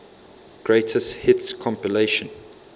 greatest hits compilation